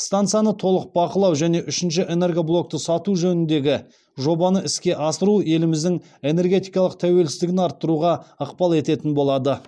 стансаны толық бақылау және үшінші энергоблокты сату жөніндегі жобаны іске асыру еліміздің энергетикалық тәуелсіздігін арттыруға ықпал ететін болады